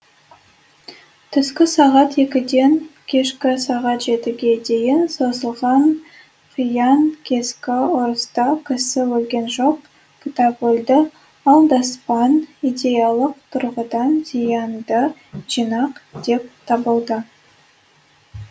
түскі сағат екіден кешкі сағат жетіге дейін созылған қиян кескі ұрыста кісі өлген жоқ кітап өлді алдаспан идеялық тұрғыдан зиянды жинақ деп табылды